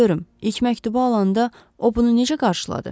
Deyin görüm, ilk məktubu alanda o bunu necə qarşıladı?